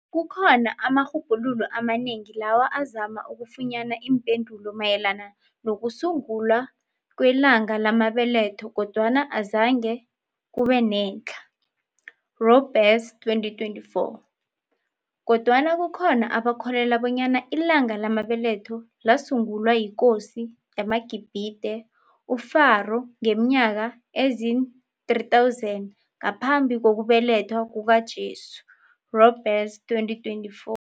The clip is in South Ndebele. Kukhona amarhubhululo amanengi lawa azama ukufunyana iimpendulo mayelana nokusungulwa kwelanga lamabeletho kodwana azange kubenetlha, Reboundersz 2024. Kodwana kukhona abakholelwa bonyana ilanga lamabeletho lasungulwa yiKosi yamaGibhide, uPharoah ngeminyaka eziin-3000 ngaphambi kokubelethwa kukaJesu, Rebounderesz 2024.